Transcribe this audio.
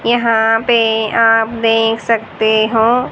यहां पे आप देख सकते हो--